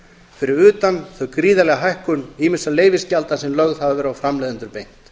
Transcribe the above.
fyrir utan gríðarlega hækkun ýmissa leyfisgjalda sem lögð hafa verið á framleiðendur beint